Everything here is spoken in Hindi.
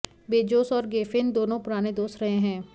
बेजोस और गेफेन दोनों पुराने दोस्त रहे हैं